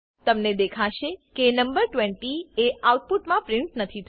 તમને દેખાશે કે નંબર 20 એ આઉટપુટમા પ્રિન્ટ નથી થયો